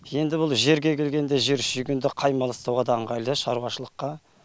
енді бұл жерге келгенде жер шүйгінді мал ұстауға да ыңғайлы шаруашылыққа